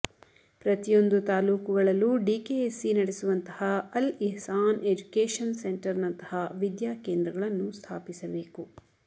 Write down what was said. ಪ್ರತಿಯೊಂದು ತಾಲೂಕು ಗಳಲ್ಲೂ ಡಿಕೆಎಸ್ಸಿ ನಡೆಸುವಂತಹ ಅಲ್ ಇಹ್ಸಾನ್ ಎಜುಕೇಶನ್ ಸೆಂಟರ್ನಂತಹ ವಿದ್ಯಾಕೇಂದ್ರಗಳನ್ನು ಸ್ಥಾಪಿಸಬೇಕು